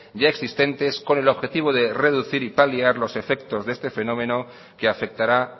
ya existentes con el objetivo de reducir y paliar los efectos de este fenómeno que afectará